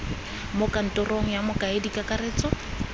mo kantorong ya mokaedi kakaretso